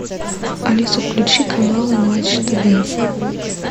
алиса включи канал матч тв